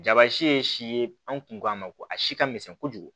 Jaba si ye si ye an kun k'a ma ko a si ka misɛn kojugu